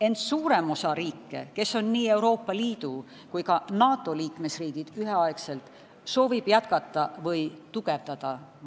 Ent suurem osa riike, kes on üheaegselt nii Euroopa Liidu kui ka NATO liikmesriigid, soovivad majandussanktsioone jätkata või tugevdada.